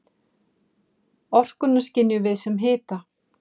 Orkuna skynjum við sem hita.